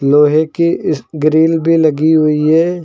लोहे कि इस ग्रिल भी लगी हुई है।